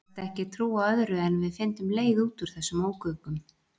Sagðist ekki trúa öðru en við fyndum leið út úr þessum ógöngum.